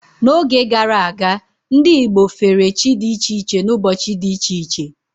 N'oge gara aga, ndị Igbo fere chi dị iche iche n'ụbọchị dị iche iche.